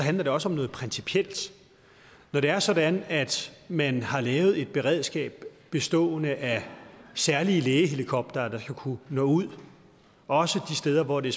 handler det også om noget principielt når det er sådan at man har lavet et beredskab bestående af særlige lægehelikoptere der skal kunne nå ud også de steder hvor det